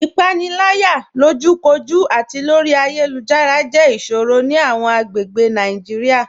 Ipanilaya, lojúkòjú àti lórí ayélujára, jẹ́ iṣòrò ni awọn agbègbè Naijiria.